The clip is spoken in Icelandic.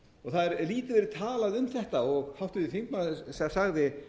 og það hefur lítið verið talað um þetta og háttvirtur þingmaður sagði